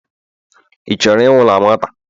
ị chọrọ ịnwụ na nwata?